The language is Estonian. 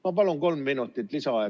Ma palun kolm minutit lisaaega.